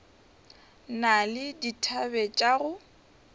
na le dithabe tša go